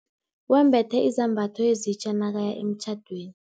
Wembethe izambatho ezitja nakaya emtjhadweni.